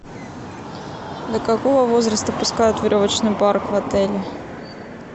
до какого возраста пускают в веревочный парк в отеле